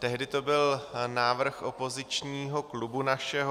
Tehdy to byl návrh opozičního klubu našeho.